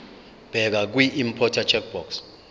bheka kwiimporter checkbox